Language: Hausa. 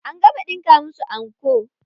An gama ɗinka musu anko.